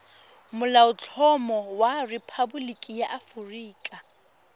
molaotlhomo wa rephaboliki ya aforika